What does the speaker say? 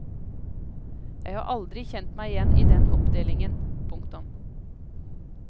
Jeg har aldri kjent meg igjen i den oppdelingen. punktum